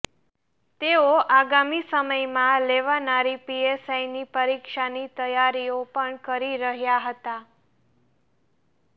તેઓ આગામી સમયમાં લેવાનારી પીએસઆઇની પરીક્ષાની તૈયારીઓ પણ કરી રહ્યા હતા